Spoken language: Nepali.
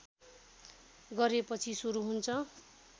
गरेपछि सुरू हुन्छ